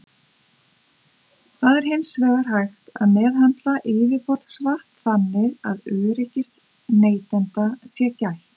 Það er hins vegar hægt að meðhöndla yfirborðsvatn þannig að öryggis neytenda sé gætt.